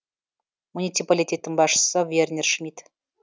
муниципалитеттің басшысы вернер шмит